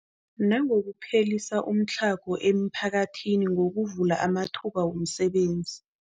Nangokuphelisa umtlhago emiphakathini ngokuvula amathuba wemisebenzi.